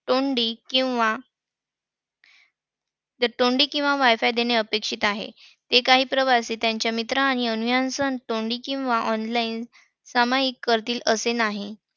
तोंडी किंवा तोंडी किंवा WIFI देणे अपेक्षित आहे. ते काही प्रवासी त्यांना मित्र आणि अनुयायांचं तोंडी किंवा online सामाईक करतील असे नाही.